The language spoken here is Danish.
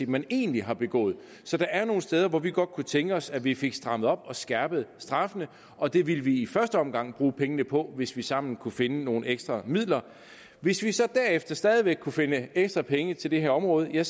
man egentlig har begået så der er nogle steder hvor vi godt kunne tænke os at vi fik strammet op og skærpet straffene og det ville vi i første omgang bruge pengene på hvis vi sammen kunne finde nogle ekstra midler hvis vi så derefter stadig væk vil kunne finde ekstra penge til det her område er